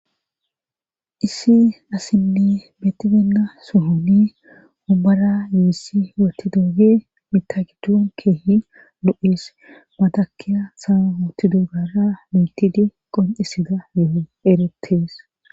issi asinne betibeenna sohoni ombara yiissi wootidooge mitagidun keehi lu7ees matakiya sa wootidoogara mitidi qonisida yeo eretees